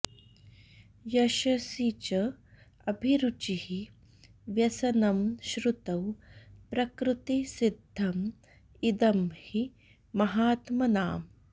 यशसि च अभिरुचिः व्यसनं श्रुतौ प्रकृतिसिद्धम् इदं हि महात्मनाम्